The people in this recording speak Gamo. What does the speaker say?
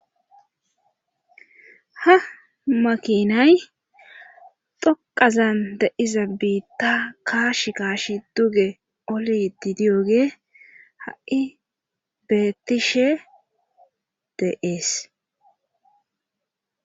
ha makinay dhoqazan deiza biitta kaash kaash duge oliti diyoge ha7i beettishe deees